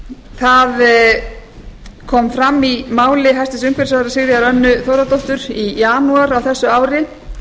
það kom fram í máli hæstvirts umhverfisráðherra sigríðar önnu þórðardóttur í janúar á þessu ári